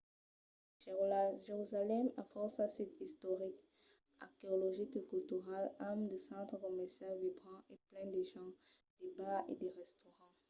jerusalèm a fòrça sits istorics arqueologics e culturals amb de centres comercials vibrants e plens de gents de bars e de restaurants